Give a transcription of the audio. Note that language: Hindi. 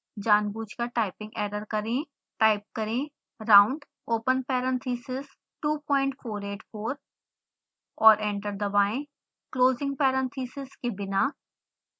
जानबूझकर टाइपिंग एरर करें